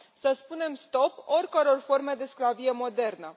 Să spunem stop oricăror forme de sclavie modernă.